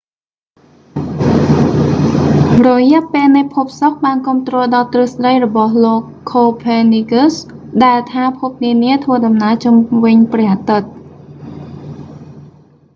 រយៈពេលនៃភពសុក្របានគាំទ្រដល់ទ្រឹស្ដីរបស់លោក copernicus ខូភើនីកឹស ដែលថាភពនានាធ្វើដំណើរជុំវិញព្រះអាទិត្យ